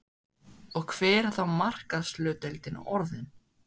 Og hver er þá markaðshlutdeildin orðin?